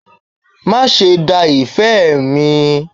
Máa ṣe da ìfẹ́ mi.